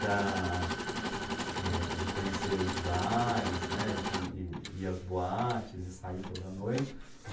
da... eh, de conhecer os bares, né, de ir ir às boates e sair toda noite. De